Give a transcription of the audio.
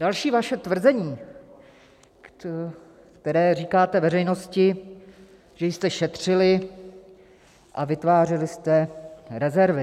Další vaše tvrzení, které říkáte veřejnosti, že jste šetřili a vytvářeli jste rezervy.